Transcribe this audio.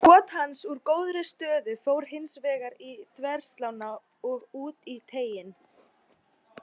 Skot hans úr góðri stöðu fór hins vegar í þverslánna og út í teiginn.